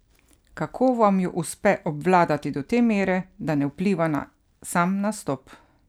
Kako vam jo uspe obvladati do te mere, da ne vpliva na sam nastop?